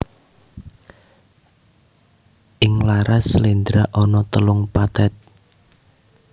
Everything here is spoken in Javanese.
Ing laras sléndra ana telung pathet